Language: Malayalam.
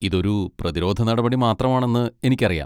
ഇതൊരു പ്രതിരോധ നടപടി മാത്രമാണെന്ന് എനിക്കറിയാം.